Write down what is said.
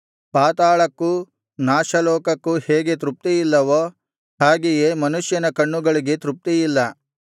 ಪಾತಾಳಕ್ಕೂ ನಾಶಲೋಕಕ್ಕೂ ಹೇಗೆ ತೃಪ್ತಿಯಿಲ್ಲವೋ ಹಾಗೆಯೇ ಮನುಷ್ಯನ ಕಣ್ಣುಗಳಿಗೆ ತೃಪ್ತಿಯಿಲ್ಲ